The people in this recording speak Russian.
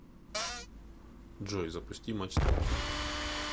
джой запусти матч тв